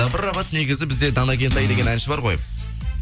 дабрабат негізі бізде дана кентай деген әнші бар ғой